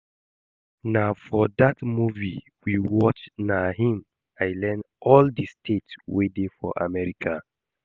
Na for dat movie we watch na im I Iearn all the states wey dey for America